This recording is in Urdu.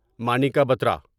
مانیکا بٹرا